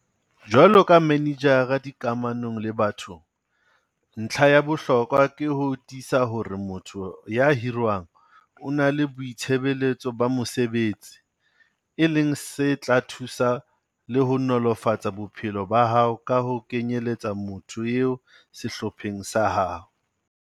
Jwalo ka Manejara dikamanong le batho, ntlha ya bohlokwa ke ho tiisa hore motho ya hirwang o na le boitsebelo ba mosebetsi, e leng se tla o thusa le ho nolofatsa bophelo ba hao ka ho kenyeletsa motho eo sehlopheng sa hao.